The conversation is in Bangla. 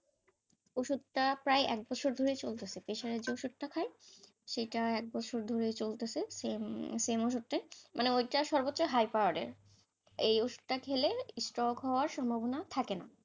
ওষুধ তা প্রায় এক বছর ধরে চলেছে pressure এর যে ওষুধটা খায়, সেটা এক বছর ধরে চলতাছে, same same ওষুধটাই, মানে ওইটা সর্বচ্চ high power এর এই ওষুধটা খেলে stroke হওয়ার সম্ভাবনা থাকে না,